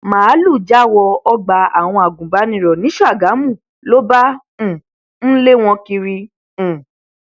máàlùú já wọ ọgbà àwọn agùnbànìrò ní ṣàgámù ló bá um ń lé wọn kiri um